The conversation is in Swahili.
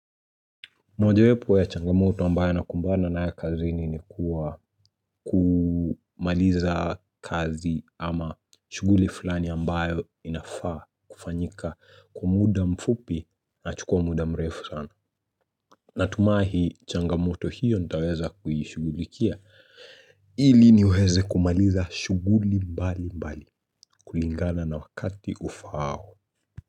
Mojawepo ya changamoto ambayo nakumbana nayo kazi ni ni kuwa kumaliza kazi ama shughuli fulani ambayo inafaa kufanyika kwa muda mfupi na chukua muda mrefu sana. Natumai changamoto hiyo nitaweza kuhishugulikia ili niweze kumaliza shughuli mbali mbali kulingana na wakati ufaao.